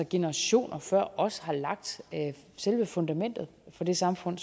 generationer før os har lagt selve fundamentet for det samfund